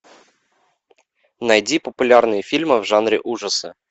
найди популярные фильмы в жанре ужасы